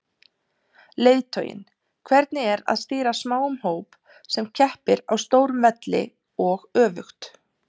Leiðtoginn, hvernig er að stýra smáum hóp sem keppir á stórum velli og öfugt?